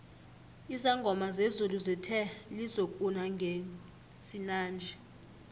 izangoma zezulu zithe lizokuna ngesinanje